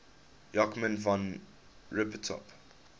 joachim von ribbentrop